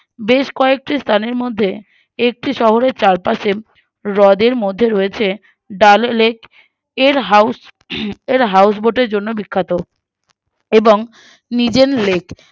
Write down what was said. বেশ কয়েকটি স্থানের মধ্যে একটি শহরের চারপাশে হ্রদের মধ্যে রয়েছে ডালে Lake এর House হম Houseboat এর জন্য বিখ্যাত